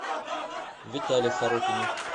витале сорокине